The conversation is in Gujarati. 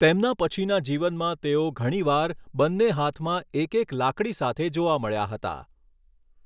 તેમના પછીના જીવનમાં તેઓ ઘણીવાર બન્ને હાથમાં એક એક લાકડી સાથે જોવા મળ્યા હતા.